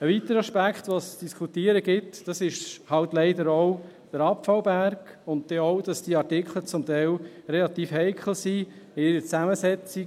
Ein weiterer Aspekt, den es zu diskutieren gibt, ist leider auch der Abfallberg und auch, dass diese Artikel teilweise relativ heikel sind in ihrer Zusammensetzung.